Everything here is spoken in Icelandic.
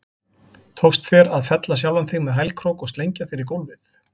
Tókst þér að fella sjálfan þig með hælkrók og slengja þér í gólfið?